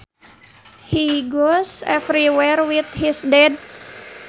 He goes everywhere with his dad